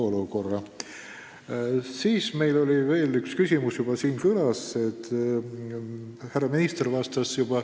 Ka meil oli veel üks küsimus, mis täna siin saaliski kõlas ja millele härra minister juba vastas.